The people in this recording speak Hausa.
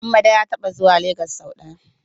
Hammada ya taɓa zuwa Lagos sau ɗaya.